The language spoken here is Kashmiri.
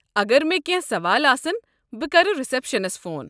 اگر مےٚ کٮ۪نٛہہ سوال آسن ، بہٕ کرٕ رسٮ۪پشنس فون